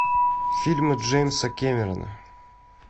фильмы джеймса кэмерона